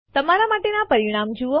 તમારા માટેના પરિણામ જુઓ